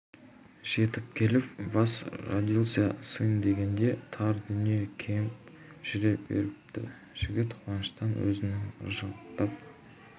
жетіп келіп вас родился сын дегенде тар дүние кеңіп жүре беріпті жігіт қуаныштан өзінің ыржалақтап